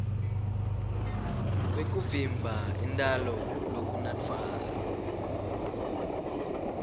kwekuvimba intalo lokunatfwako